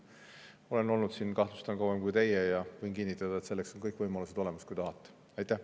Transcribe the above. Olen olnud siin, kahtlustan, kauem kui teie ja võin kinnitada, et selleks on kõik võimalused olemas, kui te vaid tahate.